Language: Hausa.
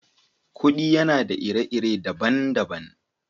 Kudi yana da ire-ire dabban dabban.